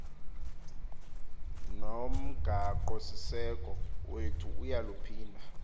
nomgaqosiseko wethu uyaluphinda